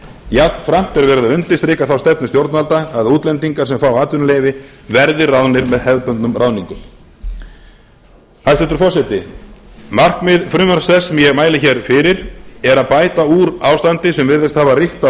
jafnframt er verið að undirstrika þá stefnu stjórnvalda að útlendingar sem fá atvinnuleyfi verði ráðnir með hefðbundnum ráðningum hæstvirtur forseti markmið frumvarps þess sem ég mæli fyrir er að bæta úr ástandi sem virðist hafa ríkt á